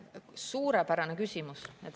Suurepärane küsimus!